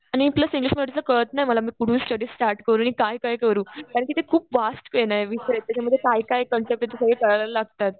आणि plus English मध्ये असं कळत नाही मला. मी कुठून स्टडी स्टार्ट करू? आणि काय काय करू? कारण कि ते खूप व्हास्ट विषय आहे. त्याच्यामध्ये काय काय कन्सेप्ट आहेत ते सगळे कळायला लागतात.